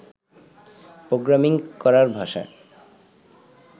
programming করার ভাষা